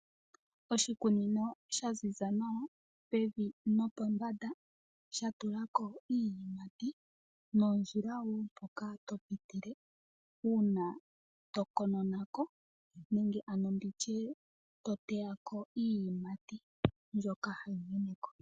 Oshikunino shaziza nawa pevi nopombanda shatulwa ko iiyimati nondjila woo mpoka to pitile uuna to uuna kononako nenge toteyako iiyimati mbyoka hayi menekeko.